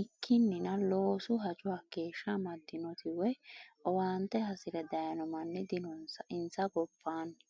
ikkininna loosu hajo hakeeshsha amadinoti woyi owaante hasire dayino manni dinonsa insa gobbanni.